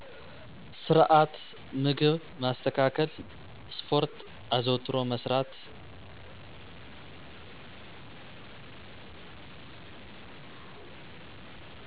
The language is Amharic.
ስርዐት ምግብ ማስተካከል ስፖርት አዘዉትሮ መስራት